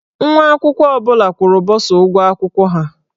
Nwa akwụkwọ ọ bụla kwụrụ bọsa ụgwọ akwụkwọ ha.